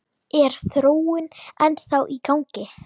Er þróunin ennþá í gangi?